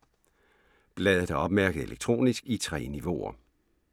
Bladet er opmærket elektronisk i 3 niveauer.